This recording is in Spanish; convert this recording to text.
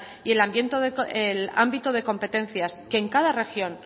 y el ámbito de competencias que en cada región